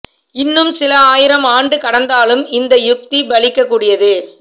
இன்னும் சில ஆயிரம் ஆண்டு கடந்தாலும் இந்த யுத்தி பலிக்க கூடியது